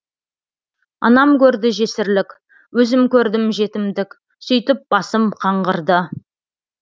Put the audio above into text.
анам көрді жесірлік өзім көрдім жетімдік сүйтіп басым қаңғырды